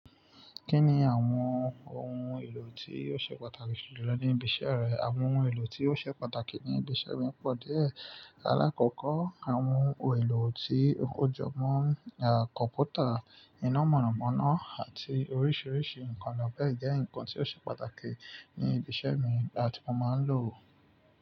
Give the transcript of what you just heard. Kí ni àwọn ohun èlò tí ó ṣe pàtàkì jù lọ ní ibi iṣẹ́ rẹ? Àwọn ohun èlò tí ó ṣe pàtàkì ní ibi iṣẹ́ mi pọ̀ díẹ̀. Lákokọ́, àwọn ohun èlò tí ó jọ mọ́ kọ̀mpútà, iná mọ̀nàmọ́ná àti oríṣiríṣi nǹkan lọ bẹ́ẹ̀ jẹ́ nǹkan tí ó ṣe pàtàkì ní ibi iṣẹ́ mi baàti mo máa ń lò ó.